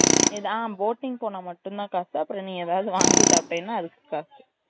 ஏதா ம் boating போனா மட்டும் தான் காசு அப்புறம் ஏதாவது வாங்கி சாப்டேனா அதுக்கு காசு